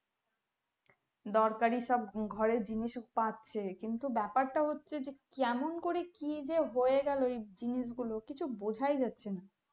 দরকারি সব ঘরের জিনিস উঃ পাচ্ছে কিন্তু ব্যাপার টা হচ্ছে যে কেমন করে কি যে হয়ে গেলো এই জিনিস গুলো কিছু বোঝাই যাচ্ছে না